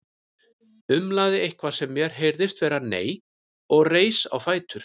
Umlaði eitthvað sem mér heyrðist vera nei og reis á fætur.